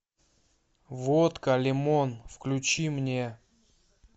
водка лимон включи мне